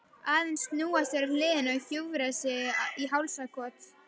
Aðeins snúa sér á hliðina og hjúfra sig í hálsakot.